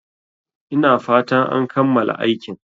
Ina fatan an kammala aikin